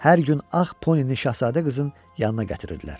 Hər gün ağ ponini şahzadə qızın yanına gətirirdilər.